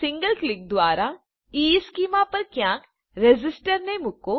single ક્લિકમાં દ્વારા ઇશ્ચેમાં પર ક્યાંક રેઝિસ્ટરને મૂકો